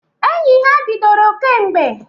Enyi ha bidoro kemgbe.